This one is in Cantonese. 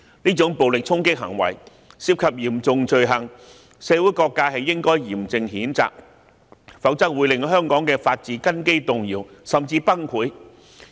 這種暴力衝擊行為涉及嚴重罪行，社會各界應該嚴正譴責，否則會令香港的法治根基動搖，甚至崩潰。